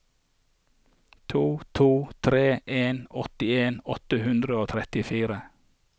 to to tre en åttien åtte hundre og trettifire